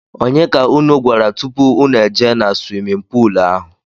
ọnye ka ụnụ gwara tụpụ ụnụ ejee na swimin poolu ahụ?